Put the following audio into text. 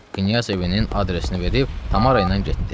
Knyaz evinin adresini verib Tamara ilə getdi.